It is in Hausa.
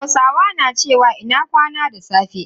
Hausawa na cewa "Ina kwana" da safe.